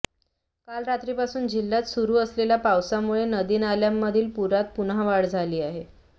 काल रात्रीपासून जिल्हयात सुरु असलेल्या पावसामुळे नदीनाल्यांमधील पुरात पुन्हा वाढ झाली आहे